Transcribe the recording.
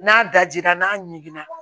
N'a dajira n'a ɲiginna